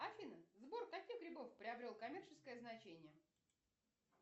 афина сбор каких грибов приобрел коммерческое значение